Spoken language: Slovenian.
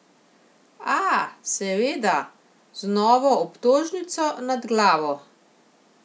A, seveda, z novo obtožnico nad glavo.